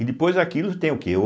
E depois aquilo tem o quê?